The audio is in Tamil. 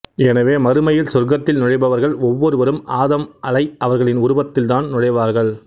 எனவே மறுமையில் சொர்க்கத்தில் நுழைபவர்கள் ஒவ்வொருவரும் ஆதம்அலை அவர்களின் உருவத்தில் தான் நுழைவார்கள்